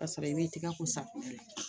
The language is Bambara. Ka sɔrɔ i b'i tɛgɛ ko safunɛ na